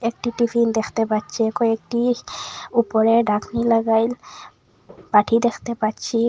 একটি টিফিন দেখতে পাচ্ছি কয়েকটি ওপরে ঢাকনি লাগাইল বাটি দেখতে পাচ্ছি।